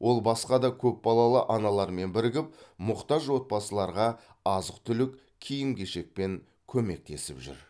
ол басқа да көпбалалы аналармен бірігіп мұқтаж отбасыларға азық түлік киім кешекпен көмектесіп жүр